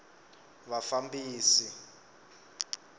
vufambisi